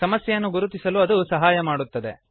ಸಮಸ್ಯೆಯನ್ನು ಗುರುತಿಸಲು ಅದು ಸಹಾಯ ಮಾಡುತ್ತದೆ